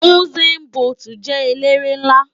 Usain Bólt jè éléré nlá